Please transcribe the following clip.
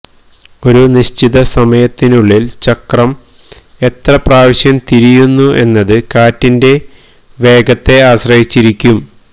ഒരു നിശ്ചിത സമയത്തിനുള്ളിൽ ചക്രം എത്ര പ്രാവശ്യം തിരിയുന്നു എന്നത് കാറ്റിന്റെ വേഗത്തെ ആശ്രയിച്ചിരിക്കും